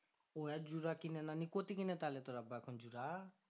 ওরা জুরা কিনে না আমি কোঠি কিনে তাহলে তোরা এখন জুরা?